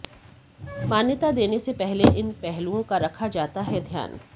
मान्यता देने से पहले इन पहलुओं का रखा जाता है ध्यान